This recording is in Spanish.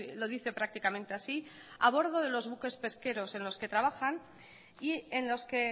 lo dice prácticamente así a bordo de los buques pesqueros en los que trabajan y en los que